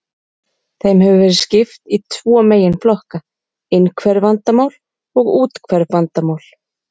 Þeim hefur verið skipt í tvo meginflokka, innhverf vandamál og úthverf vandamál.